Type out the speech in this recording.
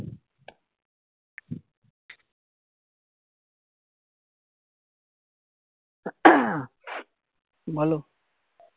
বলো